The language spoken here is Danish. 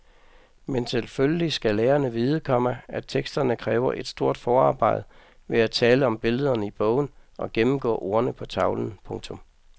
Men selvfølgelig skal lærerne vide, komma at teksterne kræver et stort forarbejde ved at tale om billederne i bogen og gennemgå ordene på tavlen. punktum